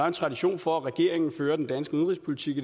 en tradition for at regeringen fører den danske udenrigspolitik